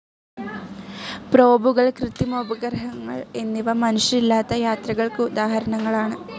പ്രോബുകൾ കൃത്രിമോപഗ്രഹങ്ങൾ എന്നിവ മനുഷ്യരില്ലാത്ത യാത്രകൾക്കുദാഹരണങ്ങളാണ്.